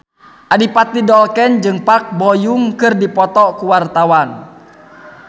Adipati Dolken jeung Park Bo Yung keur dipoto ku wartawan